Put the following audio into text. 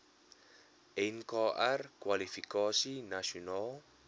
nkr kwalifikasie nasionaal